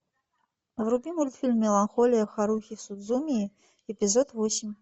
вруби мультфильм меланхолия харухи судзумии эпизод восемь